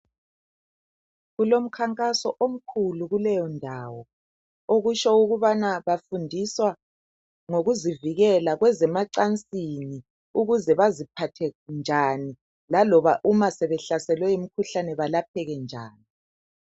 Kulomkhankaso omkhulu kuleyondawo ,okutsho ukubana bafudiswa ngokuzivikela kwezemacansini ukuze baziphathe njani lakoba uma sebehlaselwe yimikhuhlane belapheke njani.